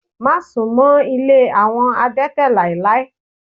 Má sunmọ ilé àwọn adete láéláé!